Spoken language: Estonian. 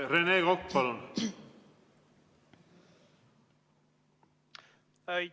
Rene Kokk, palun!